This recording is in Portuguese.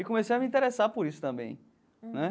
E comecei a me interessar por isso também, né?